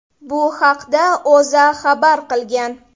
Bu haqda O‘zA xabar qilgan .